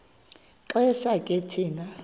xesha ke thina